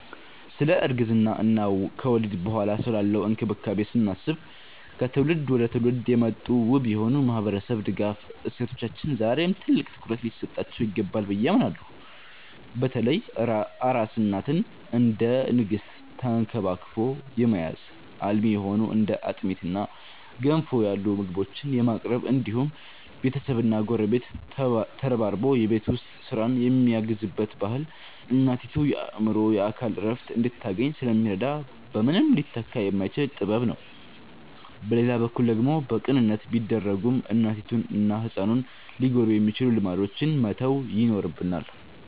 ስለ እርግዝና እና ከወሊድ በኋላ ስላለው እንክብካቤ ስናስብ፣ ከትውልድ ወደ ትውልድ የመጡት ውብ የሆኑ የማህበረሰብ ድጋፍ እሴቶቻችን ዛሬም ትልቅ ትኩረት ሊሰጣቸው ይገባል ብዬ አምናለሁ። በተለይ አራስ እናትን እንደ ንግስት ተንክባክቦ የመያዝ፣ አልሚ የሆኑ እንደ አጥሚትና ገንፎ ያሉ ምግቦችን የማቅረብ እንዲሁም ቤተሰብና ጎረቤት ተረባርቦ የቤት ውስጥ ስራን የሚያግዝበት ባህል እናቲቱ የአእምሮና የአካል እረፍት እንድታገኝ ስለሚረዳ በምንም ሊተካ የማይችል ጥበብ ነው። በሌላ በኩል ደግሞ በቅንነት ቢደረጉም እናቲቱንና ህፃኑን ሊጎዱ የሚችሉ ልማዶችን መተው ይኖርብናል።